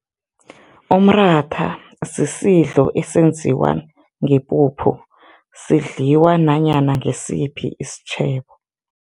Umratha sisidlo esenziwa ngepuphu, sidliwa nanyana ngisiphi isitjhebo.